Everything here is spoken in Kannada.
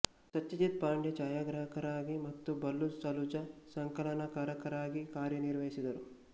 ಸತ್ಯಜೀತ್ ಪಾಂಡೆ ಛಾಯಾಗ್ರಹಕರಾಗಿ ಮತ್ತು ಬಲ್ಲು ಸಲೂಜಾ ಸಂಕಲನಕಾರರಾಗಿ ಕಾರ್ಯನಿರ್ವಹಿಸಿದರು